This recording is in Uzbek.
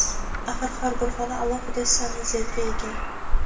axir har bir xona alohida sanuzelga ega!.